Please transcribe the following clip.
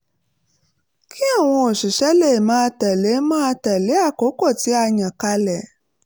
kí àwọn òṣìṣẹ́ lè máa tẹ̀lé máa tẹ̀lé àkókò tí a yàn kalẹ̀